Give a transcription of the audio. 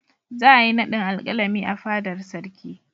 Za a yi naɗin Alƙalami a fadar Sarki.